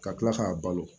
Ka kila k'a balo